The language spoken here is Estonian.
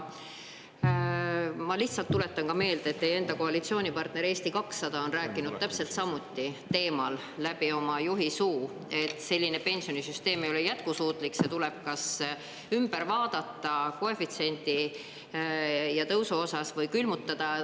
Ma lihtsalt tuletan ka meelde, et teie enda koalitsioonipartner Eesti 200 on rääkinud täpselt samuti teemal läbi oma juhi suu, et selline pensionisüsteem ei ole jätkusuutlik, see tuleb kas ümber vaadata koefitsiendi ja tõusu osas või külmutada.